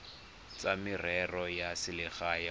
tsa merero ya selegae kgotsa